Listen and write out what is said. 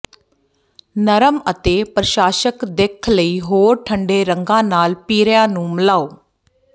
ਨਰਮ ਅਤੇ ਪਰਸ਼ਾਸ਼ਕ ਦਿੱਖ ਲਈ ਹੋਰ ਠੰਢੇ ਰੰਗਾਂ ਨਾਲ ਪੀਰਿਆ ਨੂੰ ਮਿਲਾਓ